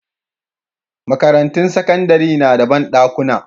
Makarantun sakandare na da banɗakuna